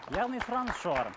яғни сұраныс жоғары